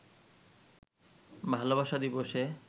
ভালোবাসা দিবসে